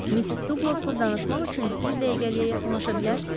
Missis Duqlasla danışmaq üçün bir dəqiqəliyə yaxınlaşa bilərsiniz?